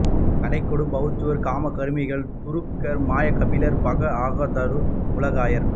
கலை கொடு பவுத்தர் காம கருமிகள் துருக்கர் மாய கபிலர் பகர் அகணாதர் உலகாயர்